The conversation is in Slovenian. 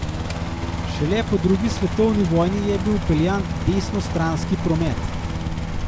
Šele po drugi svetovni vojni je bil vpeljan desnostranski promet.